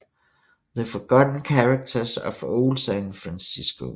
The Forgotten Characters of Old San Francisco